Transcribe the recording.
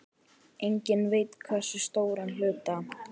Enginn veit hversu stóran hluta.